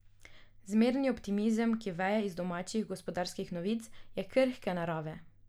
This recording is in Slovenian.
Zmerni optimizem, ki veje iz domačih gospodarskih novic, je krhke narave.